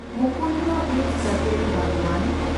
Mukundra Hills ᱡᱟᱹᱛᱤᱭᱟᱹᱨᱤ ᱵᱟᱜᱽᱣᱟᱱ